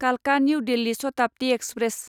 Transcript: कालका new Delhi Shatabdi express